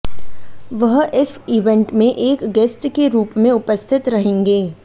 वह इस इवेंट में एक गेस्ट के रूप में उपस्थित रहेंगे